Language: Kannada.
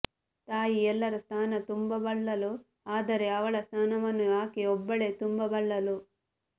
ತಾಯಿ ಎಲ್ಲರ ಸ್ಥಾನ ತುಂಬಬಲ್ಲಳು ಆದರೆ ಅವಳ ಸ್ಥಾನವನ್ನು ಆಕೆಯೊಬ್ಬಳೇ ತುಂಬಬಲ್ಲಳು